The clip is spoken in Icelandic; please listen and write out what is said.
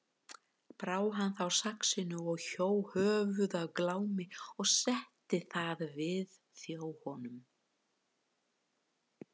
Brá hann þá saxinu og hjó höfuð af Glámi og setti það við þjó honum.